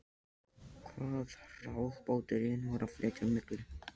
Hvað hraðbáturinn var að flytja á milli.